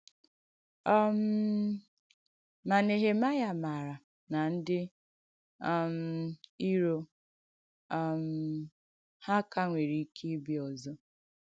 um Mà Nèhèmàịà màarà nà ndí um ìrò um hà kà nwèrè ìkè ị̀bìà òzọ̀.